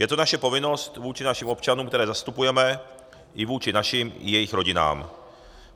Je to naše povinnost vůči našim občanům, které zastupujeme, i vůči našim i jejich rodinám.